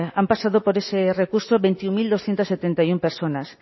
han pasado por ese recurso veintiuno mil doscientos setenta y uno personas